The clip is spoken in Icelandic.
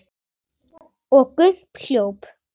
Og Gump hljóp!